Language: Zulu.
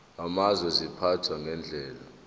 amazwe ziphathwa ngendlela